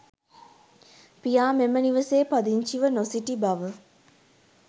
පියා මෙම නිවසේ පදිංචිව නොසිටි බව